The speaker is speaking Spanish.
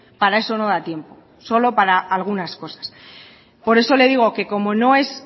para eso no da tiempo solo para algunas cosas por eso le digo que como no es